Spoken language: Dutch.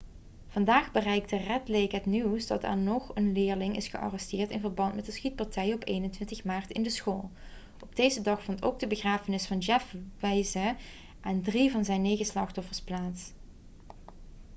vandaag bereikte red lake het nieuws dat er nog een leerling is gearresteerd in verband met de schietpartijen op 21 maart in de school op deze dag vond ook de begrafenis van jeff weise en drie van zijn negen slachtoffers plaats